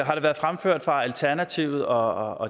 har det været fremført fra alternativets og